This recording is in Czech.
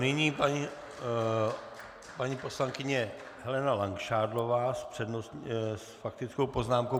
Nyní paní poslankyně Helena Langšádlová s faktickou poznámkou.